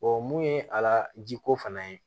mun ye ala jiko fana ye